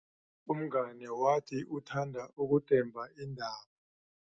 Umngani wathi uthanda ukudemba iindaba.